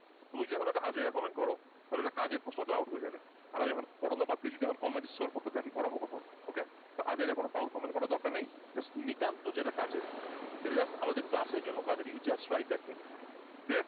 তুমি যখন একটা আজাইরা comment করো তাহলে একটা কাজের প্রশ্ন তো out হয়ে যাবে, আর আমি এখন পড়ানো বাদ দিয়ে যদি এখন comment scroll করতে থাকি পড়াবো কখন? OK তো আজাইরা কোন foul comment করার কোন প্রয়োজন নেই just নিতান্ত যেটা কাজের সেটা just আমাদের class এর জন্য কাজের you just write that think clear?